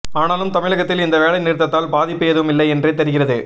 ஆனாலும் தமிழகத்தில் இந்த வேலை நிறுத்தத்தால் பாதிப்பு ஏதுமில்லை என்றே தெரிகிறது